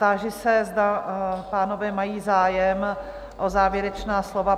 Táži se, zda pánové mají zájem o závěrečná slova?